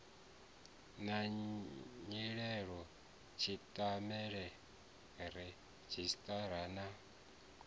na nyimele tshitaela redzhisṱara na